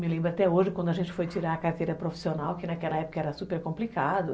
Me lembro até hoje, quando a gente foi tirar a carteira profissional, que naquela época era super complicado.